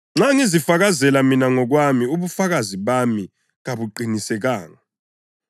“Nxa ngizifakazela mina ngokwami ubufakazi bami kabuqinisekanga.